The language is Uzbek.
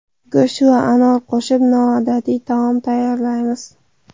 Go‘sht va anor qo‘shib noodatiy taom tayyorlaymiz.